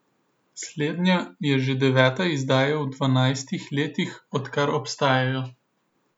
Slednja je že deveta izdaja v dvanajstih letih, odkar obstajajo.